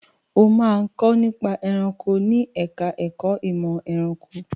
O máa kọ́ nípa ẹranko ní ẹ̀ka ẹ̀kó ìmọ̀ ẹranko.